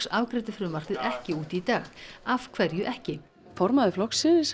afgreiddi frumvarpið ekki út í dag af hverju ekki formaður flokksins